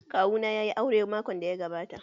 Kawu na yayi aure makon da ya gabata.